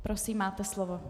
Prosím, máte slovo.